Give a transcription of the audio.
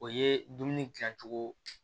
O ye dumuni dilancogo